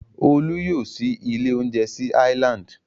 Olú yóò ṣí ilé-oúnjẹ sí Island.